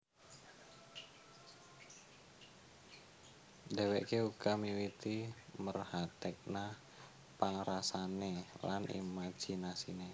Dhéwéké uga miwiti merhatèkna pangrasané lan imajinasiné